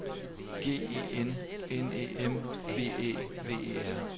G E N N E M V Æ V E R